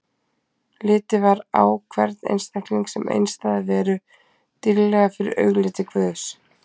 Litið var á hvern einstakling sem einstæða veru, dýrlega fyrir augliti Guðs.